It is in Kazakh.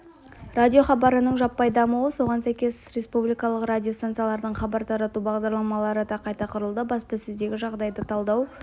радиохабарының жаппай дамуы соған сәйкес республикалық радиостанциялардың хабар тарату бағдарламалары да қайта құрылды баспасөздегі жағдайды талдау